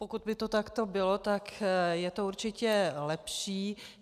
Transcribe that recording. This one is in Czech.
Pokud by to takto bylo, tak je to určitě lepší.